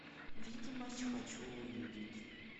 видимость хочу увидеть